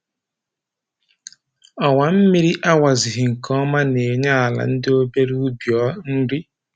Ọwa mmiri a wazighị nke ọma na-enye ala ndị obere ubi nri